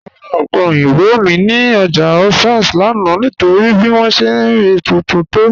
Mọ̀ rà òpẹ̀ oyinbọ̀ mi ni ọ́jà Òṣà lánà nítorí bí wọn ṣẹ̀ rí tuntun tó